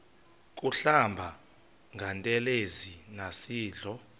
kuhlamba ngantelezi nasidlo